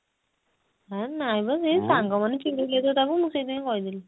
ହେ ନାଇଁ ମ ସେଇ ସାଙ୍ଗ ମାନେ ଚିଡେଇଲେ ତ ତାକୁ ସେଇଥି ପାଇଁ କହିଦେଲି